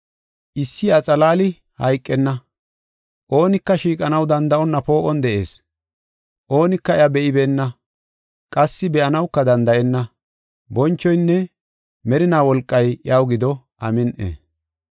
Issi iya xalaali hayqenna. Oonika shiiqanaw danda7onna poo7on de7ees. Oonika iya be7ibeenna; qassi be7anawuka danda7enna. Bonchoynne merinaa wolqay iyaw gido. Amin7i.